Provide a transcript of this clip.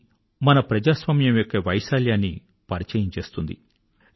ఇది మన ప్రజాస్వామ్యం యొక్క వైశాల్యాన్ని పరిచయం చేస్తుంది